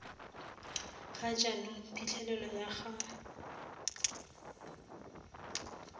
ga jaanong phitlhelelo ya ga